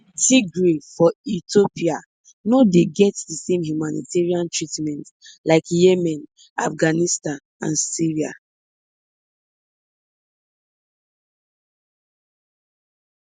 tigray for ethiopia no dey get di same humanitarian treatment like yemen afghanistan and syria